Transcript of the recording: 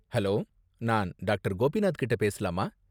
Hello, நான் doctor. Gopinath கிட்ட பேசலாமா?